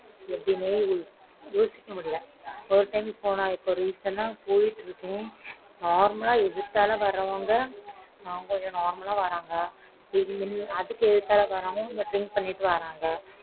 எப்பிடிண்ணே யோசிக்க முடியல